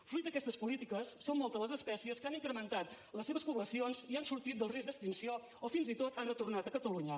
fruit d’aquestes polítiques són moltes les espècies que han incrementat les seves poblacions i han sortit del risc d’extinció o fins i tot han retornat a catalunya